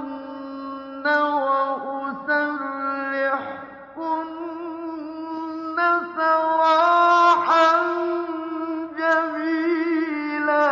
أُمَتِّعْكُنَّ وَأُسَرِّحْكُنَّ سَرَاحًا جَمِيلًا